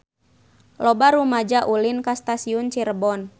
Loba rumaja ulin ka Stasiun Cirebon